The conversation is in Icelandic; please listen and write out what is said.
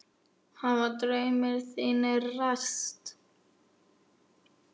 Hafa draumar þínir ræst?